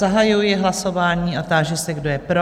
Zahajuji hlasování a táži se, kdo je pro?